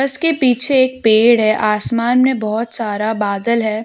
इसके पीछे एक पेड़ है आसमान में बहुत सारा बादल है।